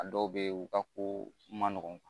A dɔw bɛ yen u ka ko man nɔgɔn